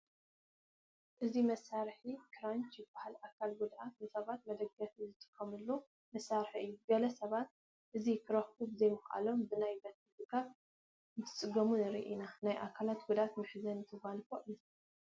እዚ መሳርሒ ክራንች ይበሃል፡፡ ኣካል ጉዱኣት ሰባት ንመደገፊ ዝጥቀሙሉ መሳርሒ እዩ፡፡ ገለ ሰባት እዚ ክረኽቡ ብዘይምኽኣሎም ብናይ በትሪ ድጋፍ እንትፅገሙ ንርኢ ኢና፡፡ ናይ ኣካል ጉድኣት መሕዘኒ ተጓንፎ እዩ፡፡